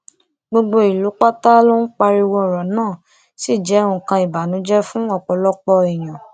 gbogbo ìlú pátá ló ń pariwo ọrọ náà ṣì jẹ nǹkan ìbànújẹ fún ọpọlọpọ èèyàn